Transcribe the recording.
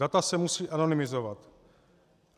Data se musí anonymizovat.